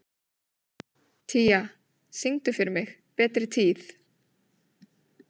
Tía, syngdu fyrir mig „Betri tíð“.